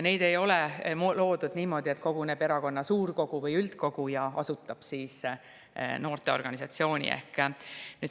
Neid ei ole loodud niimoodi, et koguneb erakonna suurkogu või üldkogu ja asutab noorteorganisatsiooni.